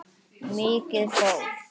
Mikið fólk.